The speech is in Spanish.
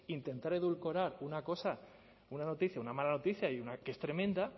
intentar edulcorar una cosa una noticia una mala noticia y una que es tremenda